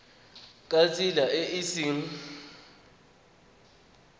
ka tsela e e seng